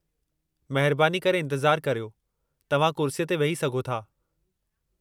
महिरबानी करे इंतिज़ारु करियो, तव्हां कुर्सीअ ते वेही सघो था।